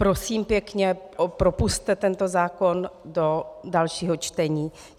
Prosím pěkně, propusťte tento zákon do dalšího čtení.